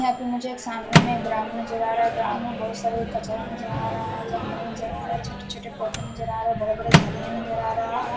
यहाँ पे मुझे एक सामने में ग्राउंड नज़र आ रहा है ग्राउंड में बहुत सारे कचरा नज़र आ रहा है जंगल नज़र आ रहा है छोटे छोटे पौधे नज़र आ रहा है बड़े बड़े झाड़ियाँ नज़र आ रहा है।